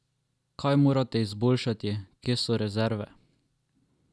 Kaj morate izboljšati, kje so rezerve?